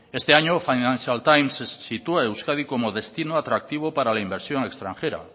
este año financial times sitúa a euskadi como destino atractivo para la inversión extranjera